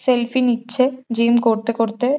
selfie নিচ্ছে gym করতে করতে --